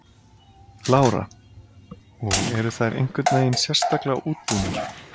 Lára: Og eru þær einhvern veginn sérstaklega útbúnar?